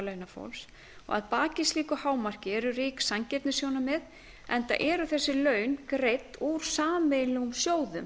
launafólks að baki slíku hámarki eru rík sanngirnissjónarmið enda eru þessi laun greidd úr sameiginlegum sjóðum